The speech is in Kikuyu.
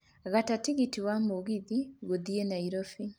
gata tigiti wa mũgithi gũthiĩ nairobi